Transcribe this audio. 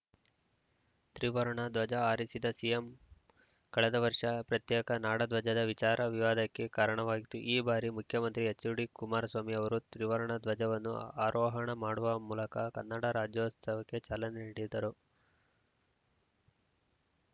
ತ್ರಿವರ್ಣ ಧ್ವಜ ಹಾರಿಸಿದ ಸಿಎಂ ಕಳೆದ ವರ್ಷ ಪ್ರತ್ಯೇಕ ನಾಡಧ್ವಜದ ವಿಚಾರ ವಿವಾದಕ್ಕೆ ಕಾರಣವಾಗಿತ್ತು ಈ ಬಾರಿ ಮುಖ್ಯಮಂತ್ರಿ ಎಚ್‌ಡಿಕುಮಾರಸ್ವಾಮಿ ಅವರು ತ್ರಿವರ್ಣ ಧ್ವಜವನ್ನು ಆರೋಹಣ ಮಾಡುವ ಮೂಲಕ ಕನ್ನಡ ರಾಜ್ಯೋತ್ಸವಕ್ಕೆ ಚಾಲನೆ ನೀಡಿದರು